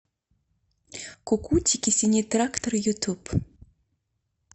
кукутики синий трактор ютуб